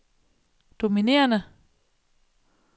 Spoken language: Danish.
dominerende